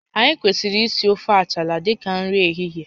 Anyị kwesịrị iri ofe achala dịka nri ehihie